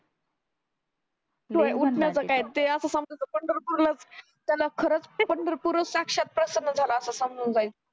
उटण्याचा काय ते असं समजायचं पंढरपूरलाच त्याला खरच पंढरपूरच साक्षात प्रसन्न झाला असं समजून जायचं